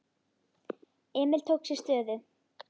Emil tók sér stöðu.